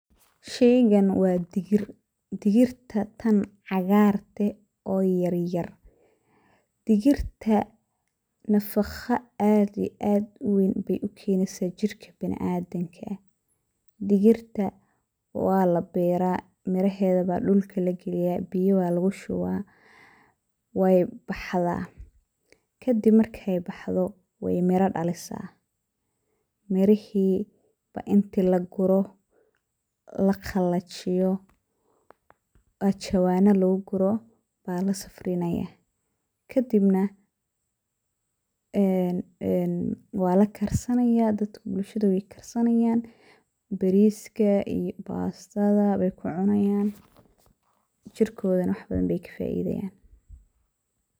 Sheygan wa digir, digirta tan cagarka eh oo yaryar\. Digirta nafaqo aad iyo aad ubadan bey ukeneysa jirka biniadamka, digirta walabera miraheda aya dhulka lagaliya biyo aya lugushuba wey baxda, kadib markey baxdo miro ayey bixisa, mirihi aya inti laguro, laqalijiyo aya jawan inti luguguro lasafrinaya. Kadib walakarsanaya dadka bulshada aya karsanaya beriska iyo bastada ayey kucunayan jirkodana wax badan ayey kafaidi hayaan.